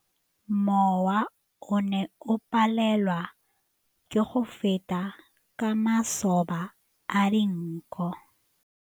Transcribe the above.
Mowa o ne o palelwa ke go feta ka masoba a dinko.